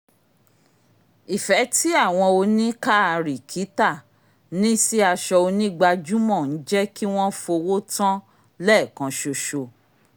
ifẹ̀ tí àwọn oníkaárìkítà ní sí aṣọ onígbajúmọ̀ ń jẹ́ kí wọ́n fowó tán lẹ́ẹ̀kanṣoṣo